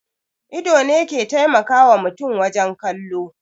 Ido ne ke taimakawa mutum wajen kallo